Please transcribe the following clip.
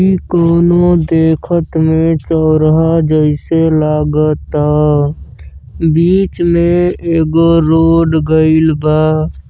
इ कउनो देखत में चौराहा जइसे लागता। बीच में एगो रोड गईल बा।